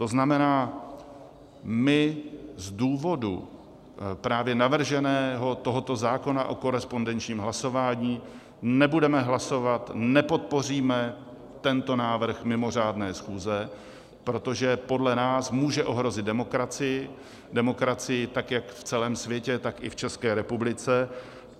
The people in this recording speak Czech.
To znamená, my z důvodu právě navrženého tohoto zákona o korespondenčním hlasování nebudeme hlasovat, nepodpoříme tento návrh mimořádné schůze, protože podle nás může ohrozit demokracii, demokracii tak jak v celém světě, tak i v České republice.